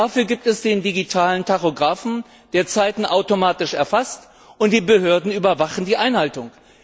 Dafür gibt es den digitalen Tachografen, der Zeiten automatisch erfasst, und die Behörden überwachen die Einhaltung.